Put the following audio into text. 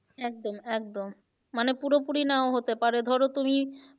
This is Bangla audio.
একদম একদম মানে পুরোপুরি নাও হতে পারে ধরো তুমি